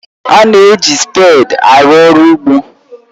A na-eji spèdi arụ ọrụ ugbo